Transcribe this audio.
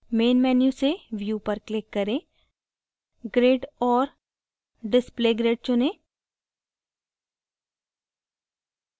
main menu से view पर click करें grid और display grid चुनें